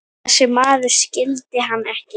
Þessi maður skildi hann ekki.